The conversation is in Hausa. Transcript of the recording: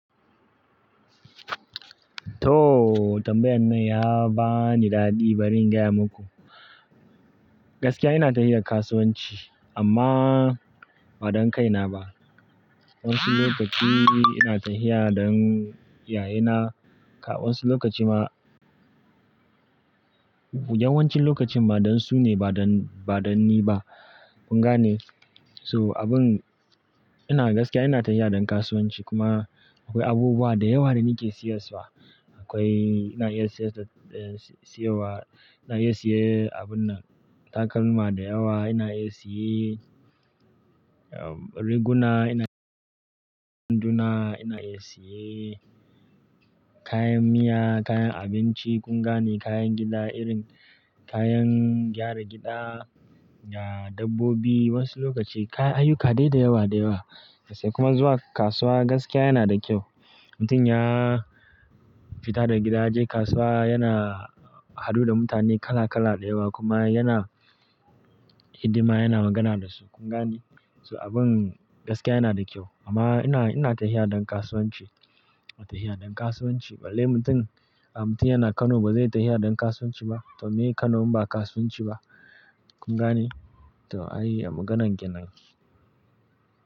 To, tambayan nan ya ba ni daɗi bari in gaya muku. Gaskiya ina tafiya kasuwanci amma ba don kaina ba. Wan insu lokaci ina tafiya don iyayena, ka wasu lokaci ma yawancin lokacin ma don su ne ba don, ba don ni ba. Kun ga ne? So abin ina gaskiya ina tafiya don kasuwanci kuma akwai abubuwa da yawa da ni ke siyarwa. Akwai, ina iya siyarwa, ina iya siye abun nan. Takalma da yawa ina iya siye, um, riguna ina, iya siyan wanduna ina iya siye, kayan miya, kayan abinci kun ga ne? Kayan gida irin kayan gyara gida, da dabbobi wasu lokaci, kayan ayuka dai da yawa da yawa. Sai kuma zuwa kasuwa gaskiya yana da kyau. Mutum ya fita daga gida ya je kasuwa yana haɗu da mutane kala kala da yawa kuma yana hidima yana magana da su. Kun ga ne? So abin gaskiya yana da kyau amma ina, ina tafiya don kasuwanci. Ina tafiya don kasuwanci. Balle mutum, ah mutum yana Kano ba zai tafiya don kasuwanci ba. To me? Kano in ba kasuwanci ba. Kun ga ne? To ai maganan kenan.